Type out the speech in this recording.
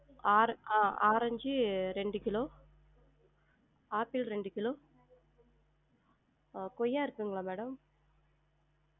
ஆர~ ஆ~ ஆரஞ்சு ரெண்டு கிலோ ஆப்பிள் ரெண்டு கிலோ அஹ் கொய்யா இருக்குங்களா madam?